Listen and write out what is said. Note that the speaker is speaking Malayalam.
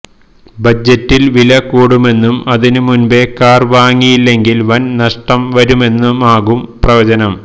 ബജറ്റിൽ വില കൂടുമെന്നും അതിനുമുൻപേ കാർ വാങ്ങിയില്ലെങ്കിൽ വൻ നഷ്ടം വരുമെന്നുമാകും പ്രവചനം